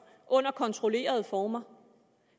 under kontrollerede former